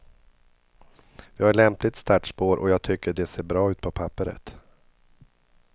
Vi har ett lämpligt startspår och jag tycker det ser bra ut på papperet.